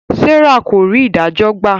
Serah kò rí idajọ gbà.